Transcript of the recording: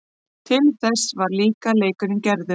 Til þess var líka leikurinn gerður.